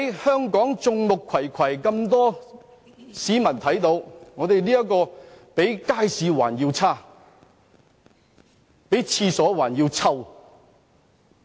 在眾目睽睽之下，立法會的情況比街市還要差，比廁所還要臭。